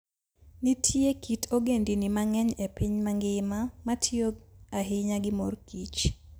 Nitie kit ogendini mang'eny e piny mangima ma tiyo ahinya gi mor kich.